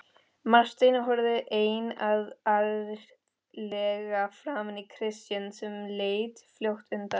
Marteinn horfði einarðlega framan í Christian sem leit fljótt undan.